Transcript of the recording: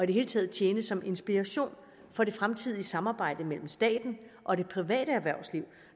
det hele taget tjene som inspiration for det fremtidige samarbejde mellem staten og det private erhvervsliv